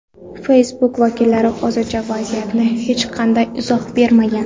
Facebook vakillari hozircha vaziyatga hech qanday izoh bermagan.